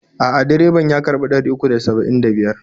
A'a, direban ya karɓi ɗari uku da saba'in da biyar.